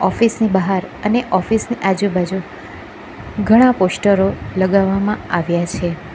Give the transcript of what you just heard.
Office ની બહાર અને ઓફિસ ની આજુબાજુ ઘણા પોસ્ટરો લગાવવામાં આવ્યા છે.